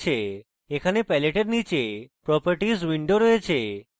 এখানে palette এর নীচে properties window রয়েছে